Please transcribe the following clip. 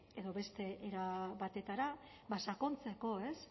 edo beste era batera sakontzeko